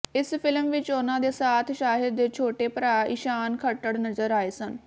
ਇਸ ਫਿਲਮ ਵਿੱਚ ਉਨ੍ਹਾਂ ਦੇ ਸਾਥ ਸ਼ਾਹਿਦ ਦੇ ਛੋਟੇ ਭਰਾ ਈਸ਼ਾਨ ਖੱਟਰ ਨਜ਼ਰ ਆਏ ਸਨ